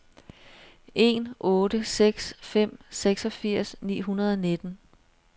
en otte seks fem seksogfirs ni hundrede og nitten